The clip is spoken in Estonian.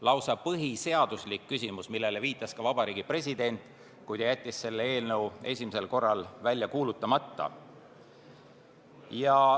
Lausa põhiseaduslik küsimus, millele viitas ka Vabariigi President, kui ta jättis selle eelnõu esimesel korral välja kuulutamata.